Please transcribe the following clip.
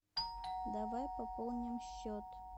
давай пополним счет